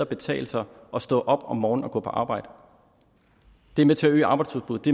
betale sig at stå op om morgenen og gå på arbejde det er med til at øge arbejdsudbuddet